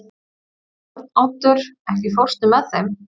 Arnoddur, ekki fórstu með þeim?